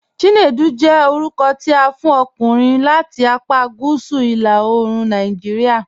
Chinedu jẹ́ orúkọ̀ tí a fún ọ̀kùnrin láti àpá Gúúsù ìlà òòrùn Nàìjíríà.